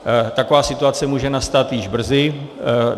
Taková situace může nastat již brzy.